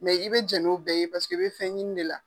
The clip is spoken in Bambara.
Mɛ i bɛ jɛn n'o bɛɛ ye paseke i bɛ fɛn ɲini de la.